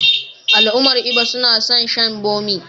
Al'ummar Igbo suna son shan bommi.